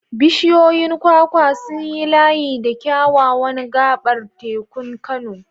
Bishiyoyin kwakwa sun yi layi da kyawawan gabar tekun Kano.